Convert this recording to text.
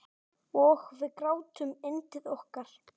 Og við grátum yndið okkar.